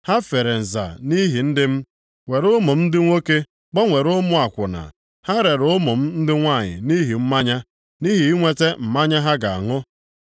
Ha fere nza nʼihi ndị m, were ụmụ m ndị nwoke gbanwere ụmụ akwụna. Ha rere ụmụ m ndị nwanyị nʼihi mmanya, nʼihi inweta mmanya ha ga-aṅụ.